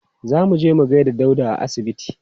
Za mu je mu gaida Dauda a asibiti.